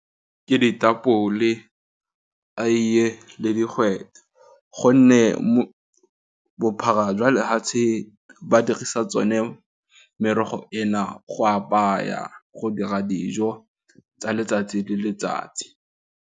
Ke ditapole, eie le digwete gonne mo bophara jwa lefatshe ba dirisa tsone merogo ena go apaya go dira dijo tsa letsatsi le letsatsi.